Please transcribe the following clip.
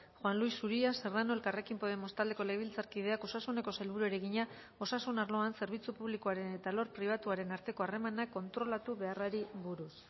juan luis uria serrano elkarrekin podemos taldeko legebiltzarkideak osasuneko sailburuari egina osasun arloan zerbitzu publikoaren eta alor pribatuaren arteko harremanak kontrolatu beharrari buruz